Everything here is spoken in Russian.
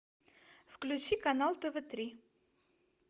включи канал тв три